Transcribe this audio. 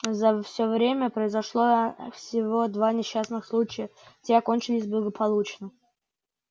за всё время произошло ээ всего два несчастных случая и те окончились благополучно